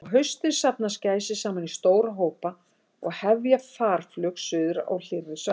Á haustin safnast gæsir saman í stóra hópa og hefja farflug suður á hlýrri svæði.